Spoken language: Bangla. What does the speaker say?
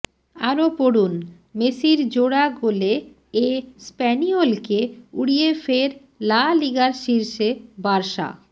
আরও পড়ুন মেসির জোড়া গোলে এস্প্যানিওলকে উড়িয়ে ফের লা লিগার শীর্ষে বার্সা